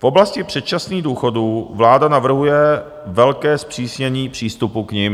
V oblasti předčasných důchodů vláda navrhuje velké zpřísnění přístupu k nim.